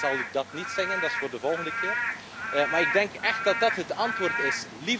Ik zal dat niet zingen, dat is voor de volgende keer, maar ik denk echt dat dat het antwoord is.